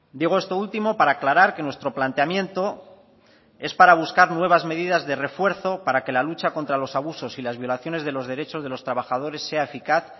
digo esto último para aclarar que nuestro planteamiento es para buscar nuevas medidas de refuerzo para que la lucha contra los abusos y las violaciones de los derechos de los trabajadores sea eficaz